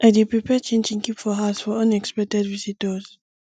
i dey prepare chin chin keep for house for unexpected visitors